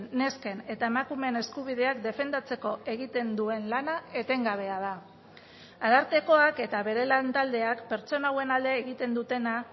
nesken eta emakumeen eskubideak defendatzeko egiten duen lana etengabea da arartekoak eta bere lan taldeak pertsona hauen alde egiten dutena